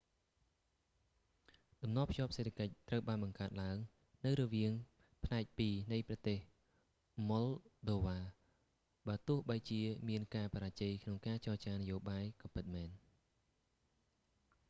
តំណភ្ជាប់សេដ្ឋកិច្ច ត្រូវបានបង្កើតឡើងនៅរវាងផ្នែកពីរនៃប្រទេសម៉ុលដូវ៉ា បើទោះបីជាមានការបរាជ័យក្នុងការចចារនយោបាយក៏ពិតមែន